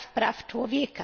Praw Człowieka.